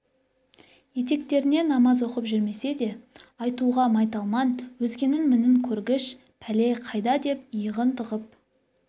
етектеріне намаз оқып жүрмесе де айтуға майталман өзгенің мінін көргіш пәле қайда деп иығын тығып